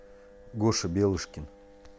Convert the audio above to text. гоша белышкин